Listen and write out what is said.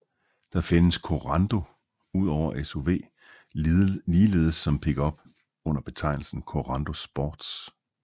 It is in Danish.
Der findes Korando udover SUV ligeledes som pickup under betegnelsen Korando Sports